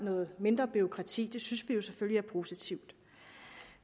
mindre bureaukrati det synes vi selvfølgelig er positivt